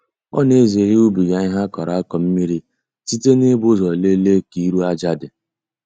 Ọ na-ezere ịwụbiga ihe a kọrọ akọ mmiri site n'ibu ụzọ lelee ka iru aja dị.